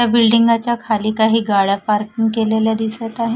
या बिल्डिंगा च्या खाली काही गाड्या पार्किंग केलेल्या दिसत आहे.